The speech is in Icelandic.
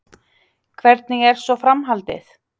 Hvernig er svo framhaldið?